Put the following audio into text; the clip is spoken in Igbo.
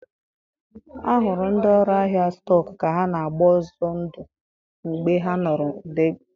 A hụrụ ndị ọrụ ahịa stọk ka ha na-agba ọzọ ndụ mgbe ha nụrụ ụda egbe.